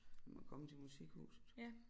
Den må komme til musikhuset